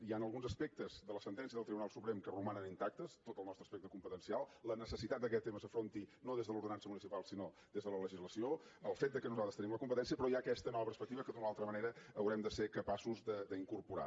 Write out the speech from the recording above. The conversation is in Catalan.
hi han alguns aspectes de la sentència del tribunal suprem que romanen intactes tot el nostre aspecte competencial la necessitat que aquest tema s’afronti no des de l’ordenança municipal sinó des de la legislació el fet que nosaltres en tenim la competència però hi ha aquesta nova perspectiva que d’una o altra manera haurem de ser capaços d’incorporar